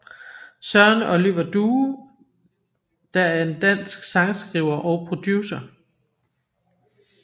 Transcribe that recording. Søren Oliver Due der er en dansk sangskriver og producer